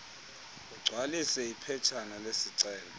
ugcwalise iphetshana lesicelo